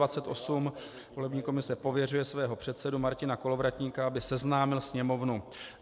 Volební komise pověřuje svého předsedu Martina Kolovratníka, aby seznámil Sněmovnu